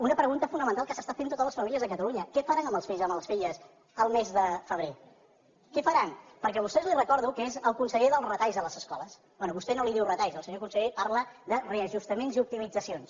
una pregunta fonamental que s’estan fent totes les famílies a catalunya què faran amb els fills i amb les filles el mes de febrer què faran perquè vostè li recordo que és el conseller dels retalls a les escoles bé vostè no en diu retalls el senyor conseller parla de reajustaments i optimitzacions